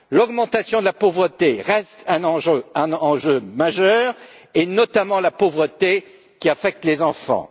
L'augmentation de la pauvreté reste un enjeu majeur, et notamment la pauvreté qui affecte les enfants.